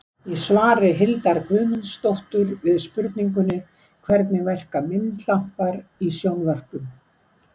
Í svari Hildar Guðmundsdóttur við spurningunni Hvernig verka myndlampar í sjónvörpum?